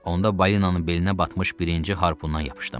Onda balinanın belinə batmış birinci harpunnan yapışdım.